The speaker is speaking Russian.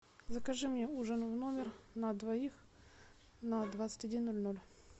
закажи мне ужин в номер на двоих на двадцать один ноль ноль